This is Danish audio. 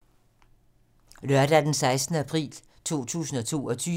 Lørdag d. 16. april 2022